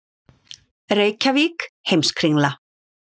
Reykjavík, Heimskringla.